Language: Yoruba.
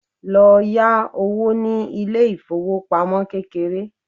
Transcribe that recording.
lọ yá owó ní ilé ifowópamọ́ kékeré